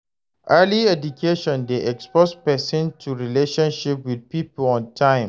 early education de expose persin to relationship with pipo on time